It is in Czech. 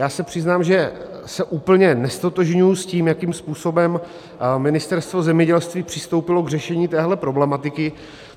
Já se přiznám, že se úplně neztotožňuji s tím, jakým způsobem Ministerstvo zemědělství přistoupilo k řešení téhle problematiky.